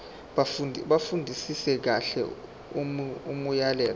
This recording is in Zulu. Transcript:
bafundisise kahle imiyalelo